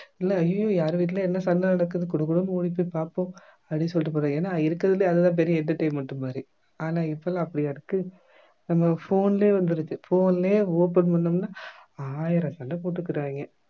இல்ல அய்யய்யோ யாரு வீட்டில என்ன சண்டை நடக்குது குடுகுடுன்னு ஓடிப் போய் பார்ப்போம் அப்படின்னு சொல்லிட்டு போ ஏன்னா இருக்கிறதுலையே அது தான் பெரிய entertainment மாதிரி ஆனா இப்பெல்லாம் அப்படியா இருக்கு நம்ம phone லயே வந்துருச்சு phone லயே open பண்ணோம்னா ஆயிரம் சண்டை போட்டுக்குறாங்க